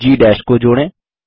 बिंदुHGG को जोड़ें